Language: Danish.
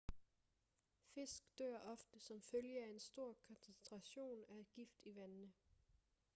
fisk dør ofte som følge af en stor koncentration af gift i vandene